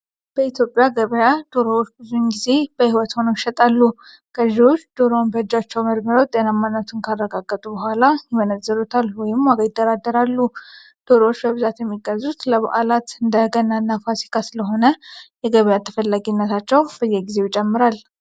በኢትዮጵያ ገበያ ዶሮዎች ብዙውን ጊዜ በሕይወት ሆነው ይሸጣሉ። ገዢዎች ዶሮውን በእጃቸው መርምረው ጤናማነቱን ካረጋገጡ በኋላ ይመነዝሩታል (ዋጋ ይደራደራሉ)። ዶሮዎች በብዛት የሚገዙት ለበዓላት (እንደ ገናና ፋሲካ) ስለሆነ የገበያ ተፈላጊነታቸው በየጊዜው ይጨምራል።